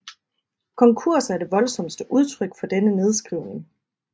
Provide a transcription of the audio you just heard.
Konkurser er det voldsomste udtryk for denne nedskrivning